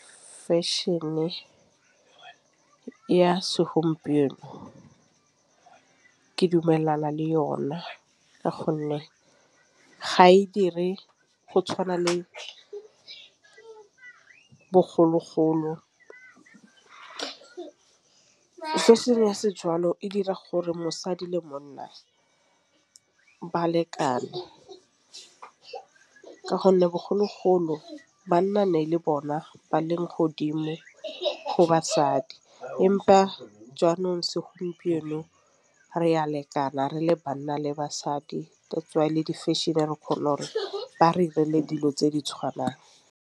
Fashion-e ya segompieno ke dumelana le yona ka gonne ga e dire go tšhwana le bogologolo. Fešhene ya sejalo e dira gore mosadi le monna balekane. Ka gonne bogologolo banna ne e le bona ba leng godimo go basadi empa jaanong segompieno re ya lekana. Re le banna le basadi that's why le di-fashion-e re kgone gore ba re direle dilo tse di tšhwanang.